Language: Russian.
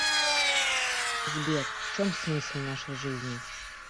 сбер в чем смысл нашей жизни